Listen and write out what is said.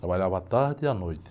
Trabalhava à tarde e à noite.